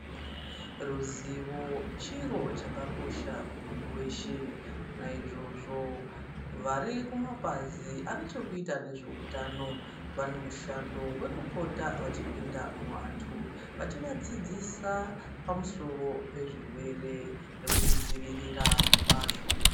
Ruzivo chiro chakakosha kumuntu weshe. Naizvozvo vari kumapazi ane chekuita nezveutano vane mushando wekupota vachipinda muantu vachivadzidzisa pamusoro pezvirwere nekuzvidzivirira kwazvo.